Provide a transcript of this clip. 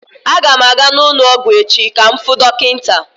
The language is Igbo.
Aga m aga n'ụlọ ọgwụ echi ka m fuu dọkịta.